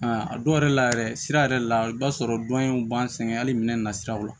Aa a dɔw yɛrɛ la yɛrɛ sira yɛrɛ la i b'a sɔrɔ dɔn in b'an sɛgɛn hali minɛn na siraw la